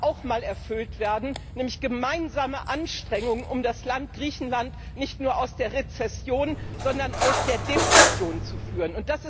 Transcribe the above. auch mal erfüllt werden, nämlich gemeinsame Anstrengungen, um das Land Griechenland nicht nur aus der Rezession, sondern aus der Depression zu führen.